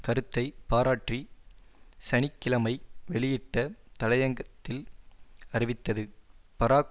கருத்தை பாராற்றி சனி கிழமை வெளியிட்ட தலையங்கத்தில் அறிவித்தது பராக்